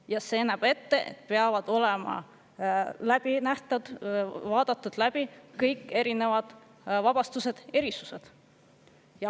Ja see näeb ette, et peavad olema vaadatud läbi kõik võimalikud erinevad vabastused ja erisused.